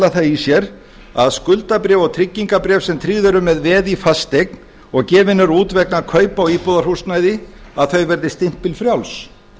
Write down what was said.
það í sér að skuldabréf og tryggingabréf sem tryggð eru með veði í fasteign og gefin eru út vegna kaupa á íbúðarhúsnæði verði stimpilfrjáls